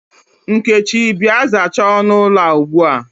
Nkechi, Bịa, zachaa ọnụ ụlọ a ugbua!